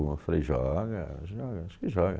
Eu falei, joga, joga, acho que joga.